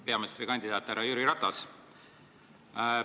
Peaministrikandidaat härra Jüri Ratas!